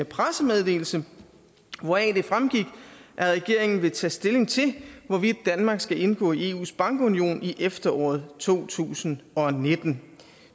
pressemeddelelse hvoraf det fremgik at regeringen vil tage stilling til hvorvidt danmark skal indgå i eus bankunion i efteråret to tusind og nitten